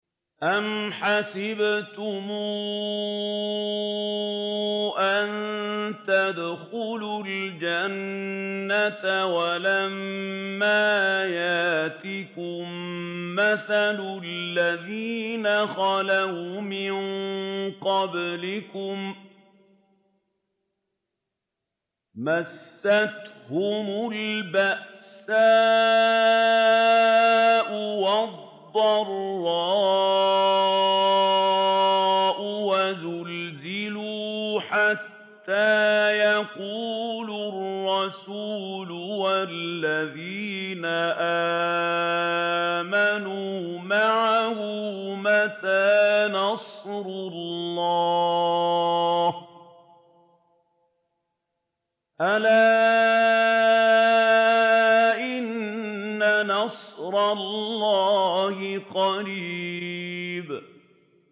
أَمْ حَسِبْتُمْ أَن تَدْخُلُوا الْجَنَّةَ وَلَمَّا يَأْتِكُم مَّثَلُ الَّذِينَ خَلَوْا مِن قَبْلِكُم ۖ مَّسَّتْهُمُ الْبَأْسَاءُ وَالضَّرَّاءُ وَزُلْزِلُوا حَتَّىٰ يَقُولَ الرَّسُولُ وَالَّذِينَ آمَنُوا مَعَهُ مَتَىٰ نَصْرُ اللَّهِ ۗ أَلَا إِنَّ نَصْرَ اللَّهِ قَرِيبٌ